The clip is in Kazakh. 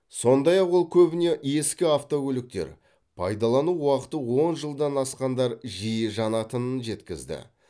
сондай ақ ол көбіне ескі автокөліктер пайдалану уақыты он жылдан асқандар жиі жанатынын жеткізді